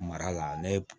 Mara la ne ye